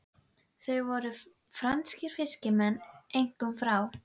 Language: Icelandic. Það voru franskir fiskimenn, einkum frá